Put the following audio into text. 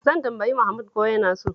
Zan tambayi Mahmud ko yana so.